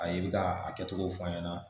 A ye bɛ ka a kɛcogo fɔ an ɲɛna